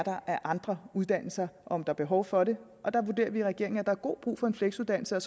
er af andre uddannelser om der er behov for det og der vurderer vi i regeringen at der er god brug for en fleksuddannelse